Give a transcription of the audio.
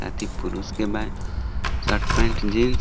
एथी पुरुष के बा शर्ट पैंट जींस .